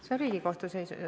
See on Riigikohtu ...